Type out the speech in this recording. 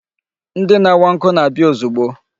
Ndị na-awa nkụ na-abịa ozugbo.